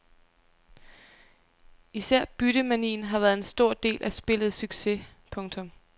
Især byttemanien har været en stor del af spillets succes. punktum